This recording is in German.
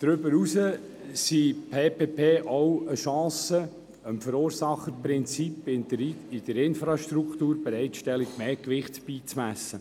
Darüber hinaus sind Public Private Partnerships auch eine Chance, dem Verursacherprinzip bei der Infrastrukturbereitstellung mehr Gewicht beizumessen.